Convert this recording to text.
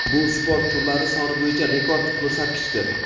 Bu sport turlari soni bo‘yicha rekord ko‘rsatkichdir;.